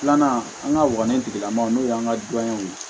Filanan an ŋa wagani tigilamaaw n'o y'an ka dɔnniw ye